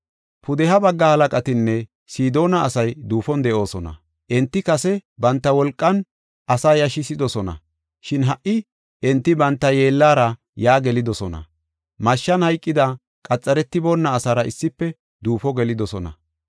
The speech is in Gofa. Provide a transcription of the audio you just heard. “Pudeha bagga halaqatinne Sidoona asay duufon de7oosona. Enti kase banta wolqan asaa yashisidosona; shin ha77i enti banta yeellara yaa gelidosona. Mashshan hayqida qaxaretiboonna asaara issife duufo geloosona.